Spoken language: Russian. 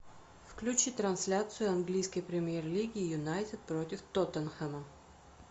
включи трансляцию английской премьер лиги юнайтед против тоттенхэма